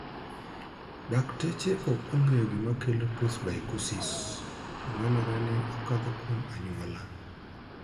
dakteche ok ong'eyo gima kelo 'presbycusis', to nenore ni okadho kuom anyuola.